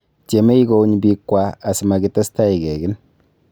Tiemei kouny biikwa asi makitestai kekin